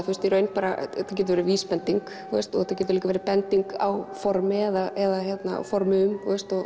í raun þetta getur verið vísbending og þetta getur líka verið bending á formi eða formum